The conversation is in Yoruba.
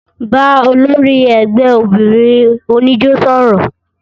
Bà ólòri ẹgbẹ óbinrin onijó sọrọ!